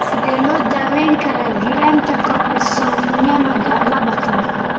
Sidee loo daweyn karaa giraanta koromosoomyada labatan?